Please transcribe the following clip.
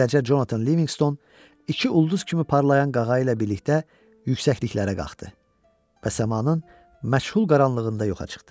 Beləcə, Jonathan Livingston iki ulduz kimi parlayan qağayı ilə birlikdə yüksəkliklərə qalxdı və səmanın məchul qaranlığında yoxa çıxdı.